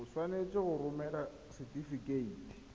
o tshwanetse go romela setefikeiti